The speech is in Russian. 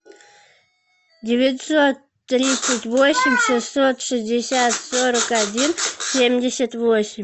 девятьсот тридцать восемь шестьсот шестьдесят сорок один семьдесят восемь